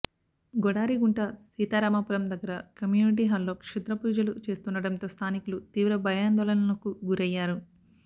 గొడారిగుంట సీతారామపురం దగ్గర కమ్యూనిటీ హాల్లో క్షుద్రపూజలు చేస్తుండటంతో స్థానికులు తీవ్ర భయాందోళనలకు గురయ్యారు